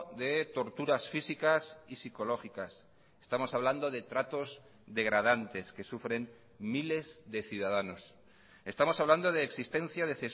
de torturas físicas y psicológicas estamos hablando de tratos degradantes que sufren miles de ciudadanos estamos hablando de existencia de